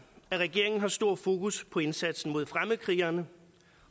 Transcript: at regeringen har stort fokus på indsatsen mod fremmedkrigerne